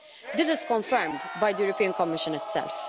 This is confirmed by the European Commission itself.